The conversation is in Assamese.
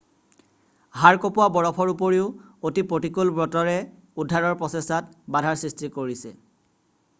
হাড় কঁপোৱা বৰফৰ উপৰিও অতি প্ৰতিকূল বতৰে উদ্ধাৰৰ প্ৰচেষ্টাত বাধাৰ সৃষ্টি কৰিছে